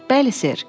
Bəli, Sir.